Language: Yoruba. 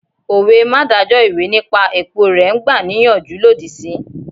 Òwe 'má dájọ́ ìwé nípa èpo rẹ̀' n gbàníyànjú lòdì sí